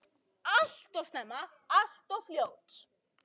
Alltof snemma og alltof fljótt.